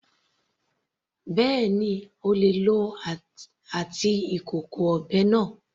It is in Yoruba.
Bẹ́ẹ̀ni, O lè lòó àti ìkòkò ọbẹ̀ náà.